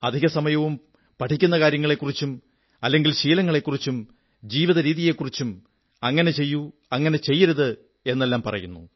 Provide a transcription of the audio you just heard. അധികസമയവും പഠിക്കുന്ന കാര്യങ്ങളെക്കുറിച്ചും അല്ലെങ്കിൽ ശീലങ്ങളെക്കുറിച്ചും ജീവിതരീതിയെക്കുറിച്ചും അങ്ങനെ ചെയ്യൂ അങ്ങനെ ചെയ്യരുത് എന്നെല്ലാം എന്നു പറയുന്നു